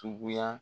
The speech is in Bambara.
Tuguya